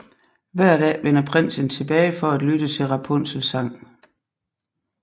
Hver dag vender prinsen tilbage for at lytte til Rapunzels sang